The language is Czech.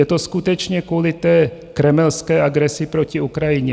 Je to skutečně kvůli té kremelské agresi proti Ukrajině.